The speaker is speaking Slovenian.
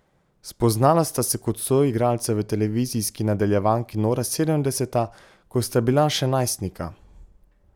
Spoznala sta se kot soigralca v televizijski nadaljevanki Nora sedemdeseta, ko sta bila še najstnika.